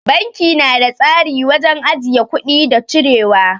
Banki na da tsari wajen ajiye kuɗi da cirewa.